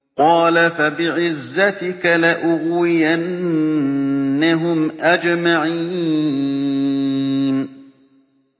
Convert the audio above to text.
قَالَ فَبِعِزَّتِكَ لَأُغْوِيَنَّهُمْ أَجْمَعِينَ